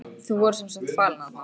Þau voru sem sagt falin þarna.